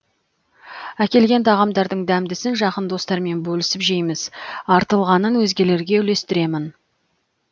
әкелген тағамдардың дәмдісін жақын достармен бөлісіп жейміз артылғанын өзгелерге үлестіремін